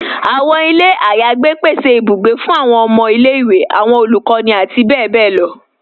Awọn ilẹ̀ ayégbẹ̀ pèsè ìbùgbẹ̀ fún awọn ọmọ ilẹ̀-iwe, awọn olukọni, àti bẹbẹ̀ lọ